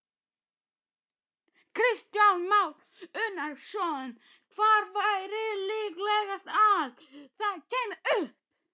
Kristján Már Unnarsson: Hvar væri líklegast að það kæmi upp?